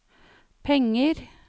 penger